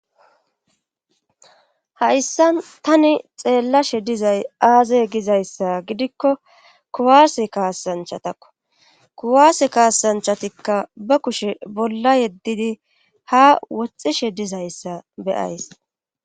hayssan tani xeellashe dizay aazey gizayssa gidikko kuwaase kaasanchatakko kuwaase kaasanchatikka ba kushe bolla yeddidi ha woxishe dizayssa be'ays